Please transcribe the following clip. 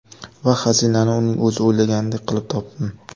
Va xazinani uning o‘zi o‘ylaganidek qilib topdim”.